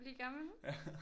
Blive gammel